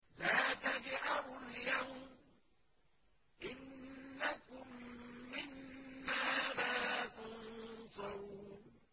لَا تَجْأَرُوا الْيَوْمَ ۖ إِنَّكُم مِّنَّا لَا تُنصَرُونَ